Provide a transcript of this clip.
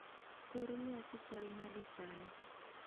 Kor lwasi chal nade sani